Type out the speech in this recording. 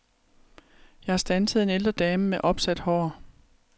Jeg standsede en ældre dame med opsat hår.